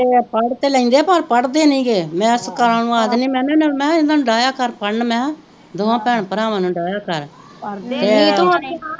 ਪੜ ਤੇ ਲੈਂਦੇ ਪਰ ਪੜਦੇ ਨਹੀਂ ਗੇ ਮੈ ਤਕਾਲਾ ਨੂੰ ਆਖ ਦਿਨੀਂ ਮੈ ਕਿਹਾ ਇਹਨਾਂ ਨੂੰ ਡਾਇਆ ਕਰ ਪੜ੍ਹਨ ਇਹਨਾਂ ਨੂੰ ਮੈ ਕਿਹਾ ਦੋਵਾਂ ਭੈਣ ਭਰਾਵਾਂ ਨੂੰ ਡਾਇਆ ਕਰ